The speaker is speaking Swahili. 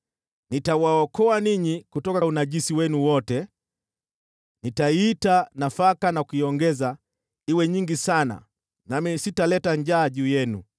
Nitawaokoa ninyi kutoka unajisi wenu wote. Nitaiita nafaka na kuiongeza iwe nyingi sana nami sitaleta njaa juu yenu.